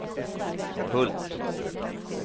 Hult